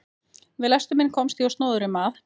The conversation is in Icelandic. Við lestur minn komst ég á snoðir um að